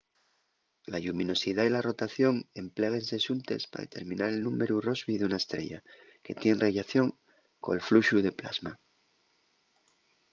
la lluminosidá y la rotación empléguense xuntes pa determinar el númberu rossby d’una estrella que tien rellación col fluxu de plasma